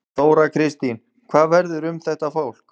Þóra Kristín: Hvað verður um þetta fólk?